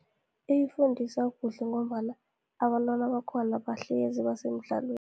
Iyifundisa kuhle, ngombana abantwana bakhona bahlezi basemdlalweni.